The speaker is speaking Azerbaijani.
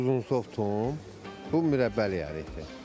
Bu uzunsov tum, bu mürəbbəlik ərikdir.